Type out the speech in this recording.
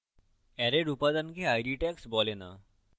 অ্যারের উপাদানকে id tags বলে the